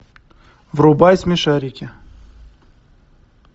врубай смешарики